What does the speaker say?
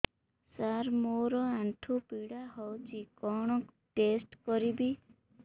ସାର ମୋର ଆଣ୍ଠୁ ପୀଡା ହଉଚି କଣ ଟେଷ୍ଟ କରିବି